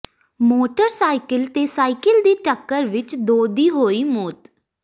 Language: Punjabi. ਮੋਟਰਸਾਈਕਲ ਤੇ ਸਾਈਕਲ ਦੀ ਟੱਕਰ ਵਿਚ ਦੋ ਦੀ ਹੋਈ ਮੌਤ